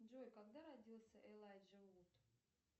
джой когда родился элайджа вуд